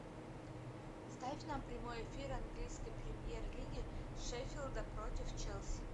ставь нам прямой эфир английской премьер лиги шеффилда против челси